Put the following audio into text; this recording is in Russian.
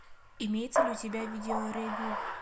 имеется ли у тебя видеопревью